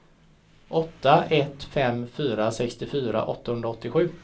åtta ett fem fyra sextiofyra åttahundraåttiosju